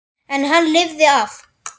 En hann lifði af.